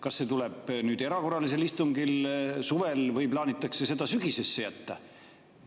Kas see tuleb nüüd erakorralisel istungil suvel või plaanitakse see jätta sügisesse?